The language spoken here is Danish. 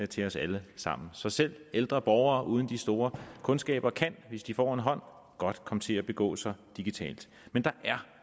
til os alle sammen så selv ældre borgere uden de store kundskaber kan hvis de får en hånd godt komme til at begå sig digitalt men der er